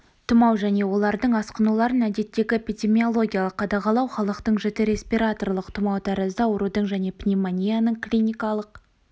тұмау және олардың асқынуларын әдеттегі эпидемиологиялық қадағалау халықтың жіті респираторлық тұмау тәрізді аурудың және пневмонияның клиникалық